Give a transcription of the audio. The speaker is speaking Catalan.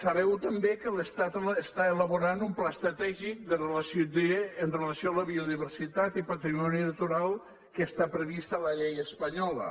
sabeu també que l’estat està elaborant un pla estratègic amb relació a la biodiversitat i patrimoni natural que està previst a la llei espanyola